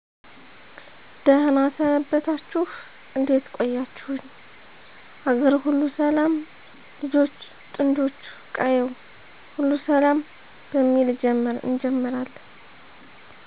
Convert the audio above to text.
ደህና ሰነበታችሁ እዴት ቆያችሁኝ አገርሁሉ ሰላም ልጆቹ ጥጆቹ ቀየው ሁሉ ሰላም በሚል እጀምራለን